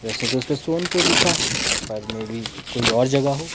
वैसे तो उस पे सोनपुर लिखा है पर मे बी कोई और जगह हो।